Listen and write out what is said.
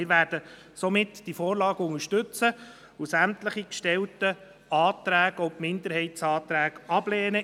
Wir werden somit diese Vorlage unterstützen und sämtliche Anträge ablehnen, auch die Minderheitsanträge.